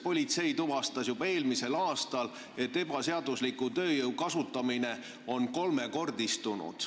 Politsei tuvastas juba eelmisel aastal, et ebaseadusliku tööjõu kasutamine on kolmekordistunud.